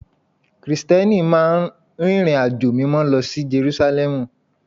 Krìsìtẹ́nì máa ń rìnrìnàjò Mímọ́ lọ sí Jerúsálẹ́mù